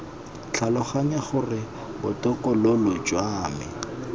tlhaloganya gore botokololo jwa me